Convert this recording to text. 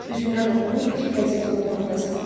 Üzündən oxunurdu ki, vəziyyət onu qorxuya salıb.